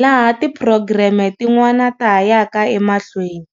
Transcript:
laha tiphurogireme tin'wana ta ha yaka emahlweni.